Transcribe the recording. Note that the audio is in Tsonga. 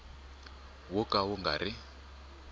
wo ka wu nga ri